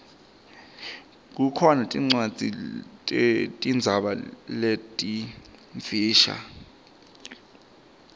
kukhona tincwadzi tetinzaba letimfisha